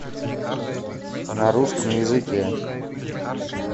на русском языке